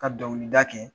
Ka dɔnkili da kɛ